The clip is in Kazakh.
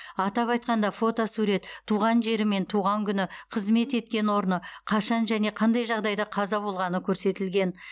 атап айтқанда фотосурет туған жері мен туған күні қызмет еткен орны қашан және қандай жағдайда қаза болғаны көрсетілген